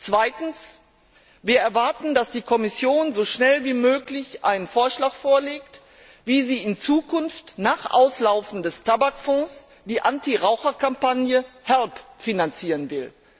Zweitens erwarten wir, dass die Kommission so schnell wie möglich einen Vorschlag vorlegt, wie sie in Zukunft nach Auslaufen des Tabakfonds die Anti Raucher Kampagne Help finanzieren will.